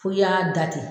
Fo i y'a da ten